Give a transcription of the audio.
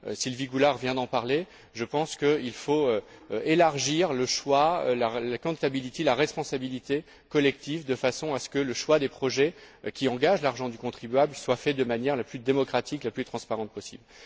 Sylvie Goulard vient d'en parler, je pense qu'il faut élargir le choix, la responsabilité collective de façon à ce que le choix des projets, qui engagent l'argent du contribuable, soit fait de manière la plus démocratique, la plus transparente possible.